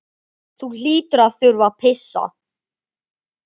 Þú hlýtur að þurfa að pissa.